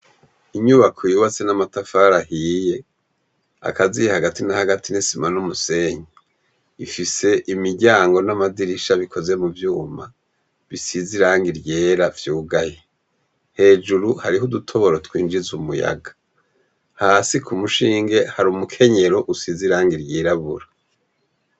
Inyubako yubatse n'amatafari ahiye akaziye hagati nahagati n'isima n'umusenyi, ifise imiryango n'amadirisha bikozwe mu vyuma, bisize irangi ryera vyugaye, hejuru hariho udutoboro twinjiz'umuyaga hasi kumushinge har'umukenyero usize irangi ryirabura.